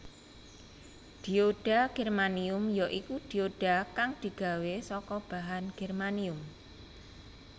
Dioda germanium ya iku dioda kang digawé saka bahan germanium